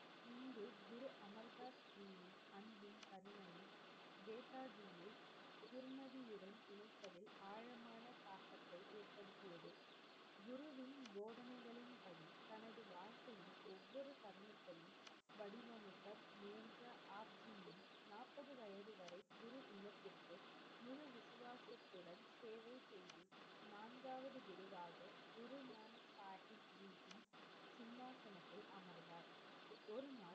ஒருநாள்,